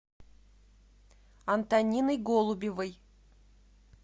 антониной голубевой